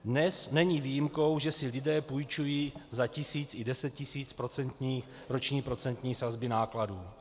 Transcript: Dnes není výjimkou, že si lidé půjčují za tisíc i deset tisíc roční procentní sazby nákladů.